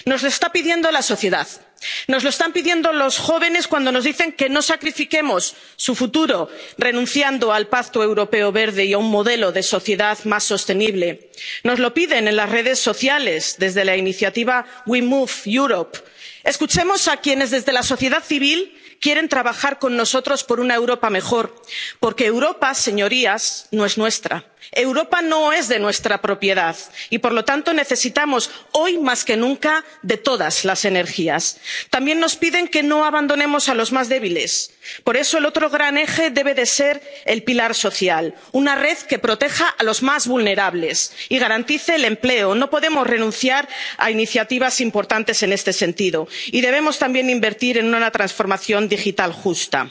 ese dinero. Nos lo está pidiendo la sociedad nos lo están pidiendo los jóvenes cuando nos dicen que no sacrifiquemos su futuro renunciando al Pacto Verde Europeo y a un modelo de sociedad más sostenible nos lo piden en las redes sociales desde la iniciativa WeMoveEU. Escuchemos a quienes desde la sociedad civil quieren trabajar con nosotros por una Europa mejor. Porque Europa, señorías, no es nuestra. Europa no es de nuestra propiedad y, por lo tanto, necesitamos hoy más que nunca de todas las energías. También nos piden que no abandonemos a los más débiles. Por eso el otro gran eje debe ser el pilar social una red que proteja a los más vulnerables y garantice el empleo. No podemos renunciar a iniciativas importantes en este sentido y debemos también invertir en una transformación